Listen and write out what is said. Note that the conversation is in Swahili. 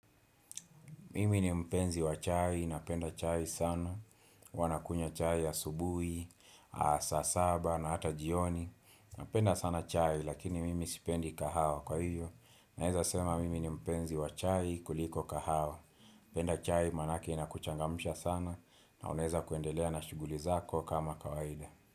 Mimi ni mpenzi wa chai, napenda chai sana. Huwa nakunya chai ya asubuhi, saa saba na hata jioni. Napenda sana chai lakini mimi sipendi kahawa kwa hivyo. Naweza sema mimi ni mpenzi wa chai kuliko kahawa. Napenda chai maanake na kuchangamusha sana na unaeza kuendelea na shuguli zako kama kawaida.